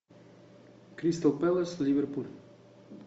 кристал пэлас ливерпуль